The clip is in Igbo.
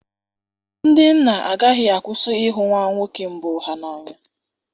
Ndị nna agaghị akwụsị ịhụ nwa nwoke mbụ ha n'anya